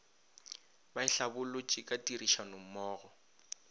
ba e hlabolotše ka tirišanommogo